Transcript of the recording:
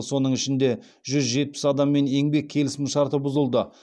соның ішінде жүз жетпіс адаммен еңбек келісімшарты бұзылды